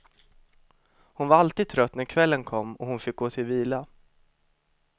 Hon var alltid trött när kvällen kom och hon fick gå till vila.